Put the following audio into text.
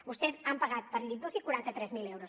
vostès han pagat per llit d’uci quaranta tres mil euros